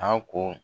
A ko